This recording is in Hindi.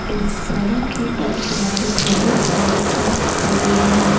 इस सड़क के एक किनारे बहुत सारे ट्रक खड़े है।